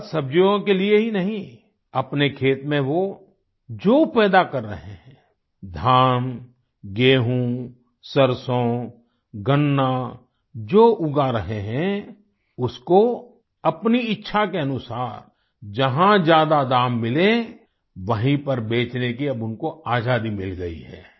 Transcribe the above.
फलसब्जियों के लिए ही नहीं अपने खेत में वो जो पैदा कर रहें हैं धान गेहूं सरसों गन्ना जो उगा रहे हैं उसको अपनी इच्छा के अनुसार जहाँ ज्यादा दाम मिले वहीँ पर बेचने की अब उनको आज़ादी मिल गई है